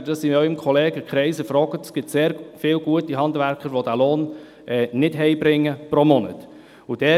Wenn Sie in ihrem Kollegenkreis fragen, gibt es sehr viele gute Handwerker, die nicht diesen Lohn pro Monat nach Hause bringen.